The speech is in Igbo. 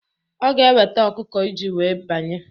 Ọ ga eweta ọkụkọ iji wee banye